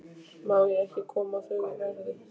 Má ég ekki koma á þau verði?